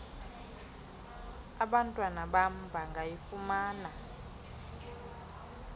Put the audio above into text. abantwana bam bangayifumana